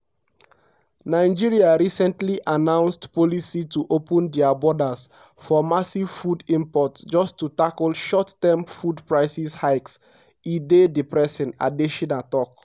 “nigeria recently announced policy to open dia borders for massive food imports just to tackle short-term food price hikes e dey depressing” adesina tok.